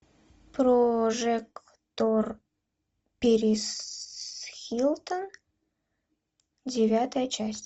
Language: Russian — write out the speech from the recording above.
прожекторперисхилтон девятая часть